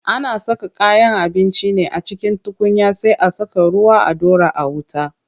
Ana saka kayan abinci ne a cikin tukunya sai a saka ruwa a ɗora a wuta.